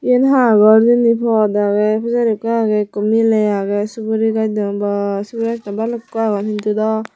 iyan ha gor hijeni pod agey pijari ekko agey ekko miley agey suguri gach degong boh sugurigach dow balukkun degong hindu dow.